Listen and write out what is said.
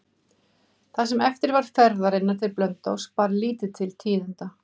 Það sem eftir var ferðarinnar til Blönduóss bar lítið til tíðinda.